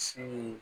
Si